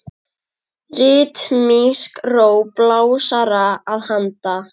Ritmísk ró blásara að handan.